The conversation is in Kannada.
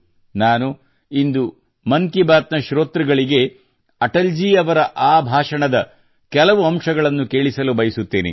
ನಾನು ಇಂದು ಮನ್ ಕಿ ಬಾತ್ ನ ಶ್ರೋತೃಗಳಿಗೆ ಅಟಲ್ ಜಿ ಅವರ ಆ ಭಾಷಣದ ಕೆಲವು ಅಂಶವನ್ನು ಕೇಳಿಸಲುಬಯಸುತ್ತೇನೆ